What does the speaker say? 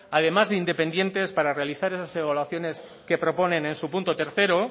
además de independientes para realizar esas evaluaciones que proponen en su punto tercero